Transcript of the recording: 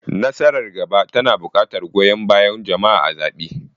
Nasarar gaba tana buƙatar goyon bayan jama'a a zaɓe.